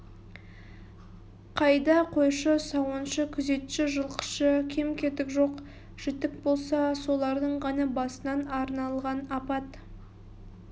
қайда қойшы сауыншы күзетші жылқышы кем-кетік жоқ-жітік болса солардың ғана басына арналған апат